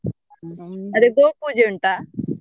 ಅದೆ ಗೋಪೂಜೆ ಉಂಟಾ?